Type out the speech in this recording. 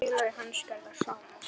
Félagi hans gerði það sama.